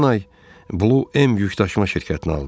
Keçən ay Blue M yükdaşıma şirkətini aldım.